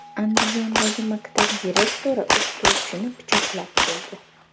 Andijondagi maktab direktori o‘qituvchini pichoqlab qo‘ydi .